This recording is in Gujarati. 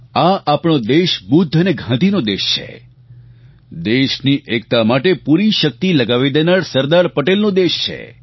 આ આપણો દેશ બુદ્ધ અને ગાંધીનો દેશ છે દેશની એકતા માટે પૂરી શક્તિ લગાવી દેનાર સરદાર પટેલનો દેશ છે